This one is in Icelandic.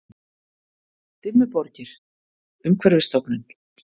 Dimmuborgir- Umhverfisstofnun.